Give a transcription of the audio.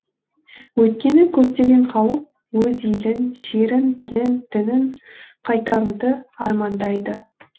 өйткені көптеген халық өз елін жерін тілін дінін қайтаруды армандайды